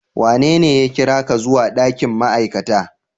Wanene ya kira ka zuwa ɗakin ma'aikata?